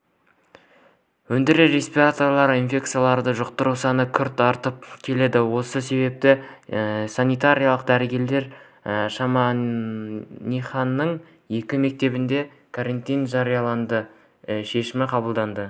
өңірде респираторлы инфекцияларды жұқтыру саны күрт артып келеді осы себепті санитарлық дәрігерлер шемонаиханың екі мектебінде карантин жариялау шешімін қабылдады